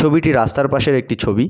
ছবিটি রাস্তার পাশের একটি ছবি।